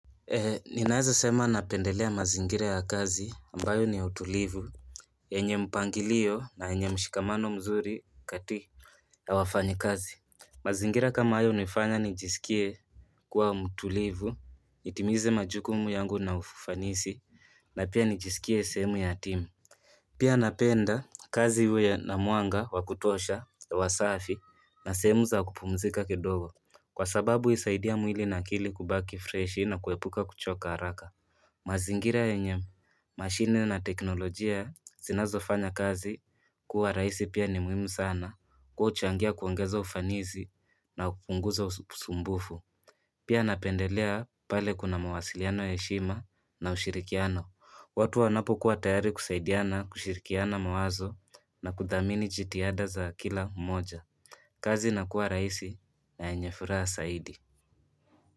Ninaweza sema napendelea mazingire ya kazi ambayo ni utulivu enye mpangilio na enye mshikamano mzuri kati ya wafanyi kazi Mazingire kama ayo nifanya nijisikie kuwa mutulivu nitimize majukumu yangu na ufufanisi na pia nijisikie semu ya timu Pia napenda kazi huye na muanga wakutosha wa safi na semu za kupumzika kidogo Kwa sababu isaidia mwili na kili kubaki freshi na kuhepuka kuchoka haraka. Mazingira ya nye mashini na teknolojia zinazo fanya kazi kuwa raisi pia ni muhimu sana kuchangia kuangeza ufanizi na kupunguza usumbufu. Pia napendelea pale kuna mawasiliano ya heshima na ushirikiano. Watu wanapo kuwa tayari kusaidiana kushirikiana mawazo na kudhamini jitiada za kila moja. Kazi na kwa raisi na nyefuraa saidi.